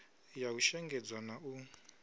ya u shengedzwa na u